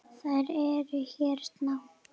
Þær eru hérna